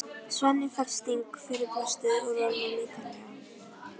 Svenni fær sting fyrir brjóstið og roðnar lítillega.